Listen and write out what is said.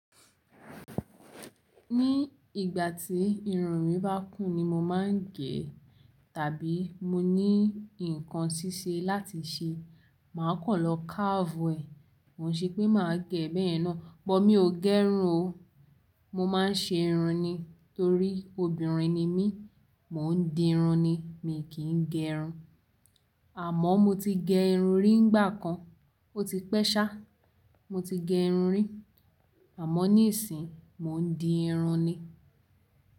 Ní ìgbà tí irun mi bá kún ni mo máa ń gẹ tàbí mo ní nǹkan ṣíṣe láti ṣe, màá kọ́ lọ carve ẹ. Kò n ṣe pé màá gẹ́ bẹ́yen náà, but mi ò gẹ́ irun o. Mo máa ń ṣe irun ni torí obìnrin ni mí, mò ń di irun ni, mi kì í gẹ́ irun. Àmọ́ mo ti gẹ irun rí nígbà kan, ó ti pẹ́ sá. Mo ti gẹ irun rí àmọ́ ní ìsìn mò ń di irun ni.